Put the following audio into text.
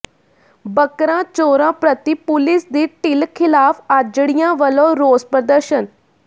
ਬੱਕਰਾ ਚੋਰਾਂ ਪ੍ਰਤੀ ਪੁਲਿਸ ਦੀ ਢਿੱਲ ਿਖ਼ਲਾਫ਼ ਆਜੜੀਆਂ ਵਲੋਂ ਰੋਸ ਪ੍ਰਦਰਸ਼ਨ